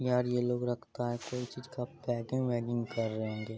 यार ये लोग रखता है कोई चीज का पेकिंग वेकिंग कर रहे होंगे।